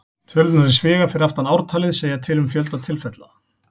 Tölurnar í sviga fyrir aftan ártalið segja til um fjölda tilfella.